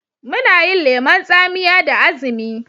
Muna yin lemon tsamiya da azumi.